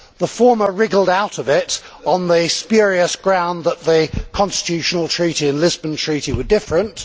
The former wriggled out of it on the spurious ground that the Constitutional Treaty and the Lisbon Treaty were different